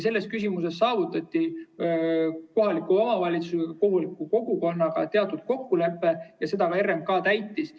Selles küsimuses saavutati kohaliku omavalitsuse ja kohaliku kogukonnaga teatud kokkulepe ja seda RMK ka täitis.